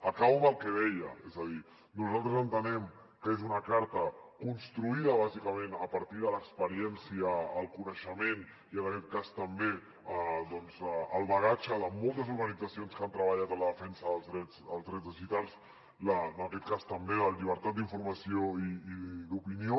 acabo amb el que deia és a dir nosaltres entenem que és una carta construïda bàsicament a partir de l’experiència el coneixement i en aquest cas també el bagatge de moltes organitzacions que han treballat en la defensa dels drets digitals i també de la llibertat d’informació i d’opinió